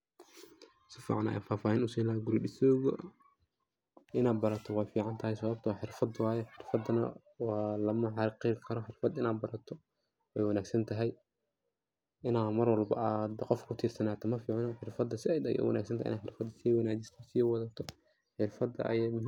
Sificaan aya fahfahiin usin laha guuri disowga, ina baarato wey ficantahay sababto ah xirfaad waye. xiirfada waa lama xaqiri karo xiirfaad ina barato wey wanagsan tahay ina maarwalbo qof ku tiirsanato maficno, xirfada saaid aye u wanagsan tahay, xirfaad ina si waanajiso si wadhato xirfaada.